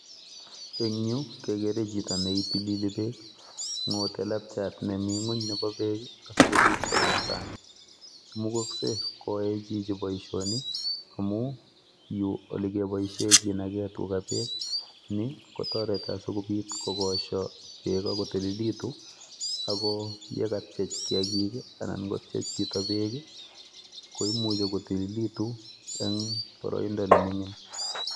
Eng yu kekere chito neitilili beek. Ng'otei lepchat nemi ng'ony nebo beek asikobit koming sang. Imukaksei koyaei chichi boisioni amu yu olekeboishe kenaki tiga beek. Ni kotareti asikobit kogosho beek akotililitu ako yekatiech kiagik anan kotiech chito beek komuchi kotililitu eng boroindo nemining.